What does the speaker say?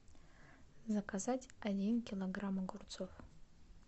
заказать один килограмм огурцов